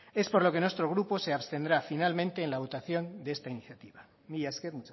es por lo que nuestro grupo se abstendrá finalmente en la votación de esta iniciativa mila esker